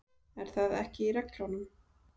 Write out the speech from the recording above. Er það ekki í reglunum?